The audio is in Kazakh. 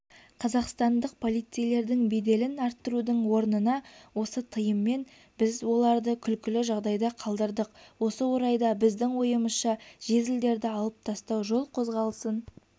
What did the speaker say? қазақстандық полицейлердің беделін арттырудың орнына осы тыйыммен біз оларды күлкілі жағдайда қалдырдық осы орайда біздің ойымызша жезлдерді алып тастау жол қозғалысын